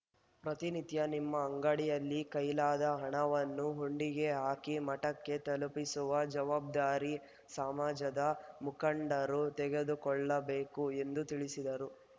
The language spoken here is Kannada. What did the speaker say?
ಪ್ರತಿನಿತ್ಯ ನಿಮ್ಮ ಅಂಗಡಿಯಲ್ಲಿ ಕೈಲಾದ ಹಣವನ್ನು ಹುಂಡಿಗೆ ಹಾಕಿ ಮಠಕ್ಕೆ ತಲುಪಿಸುವ ಜವಾಬ್ದಾರಿ ಸಮಾಜದ ಮುಖಂಡರು ತೆಗೆದುಕೊಳ್ಳಬೇಕು ಎಂದು ತಿಳಿಸಿದರು